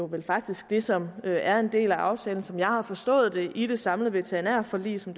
vel faktisk det som er en del af aftalen som jeg har forstået det i det samlede veterinærforlig som